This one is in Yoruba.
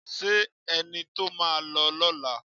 Ṣé ẹni tó máa lọ lọ́la